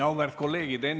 Auväärt kolleegid!